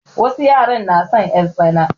Wasu yaran na son 'yartsana.